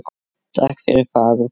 Takk fyrir fagur fiskur.